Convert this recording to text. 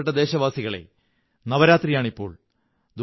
എന്റെ പ്രിയപ്പെട്ട ദേശവാസികളേ നവരാത്രിയാണിപ്പോൾ